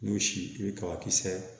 N'u si i bɛ kabakisɛ